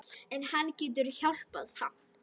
En hann getur hjálpað samt.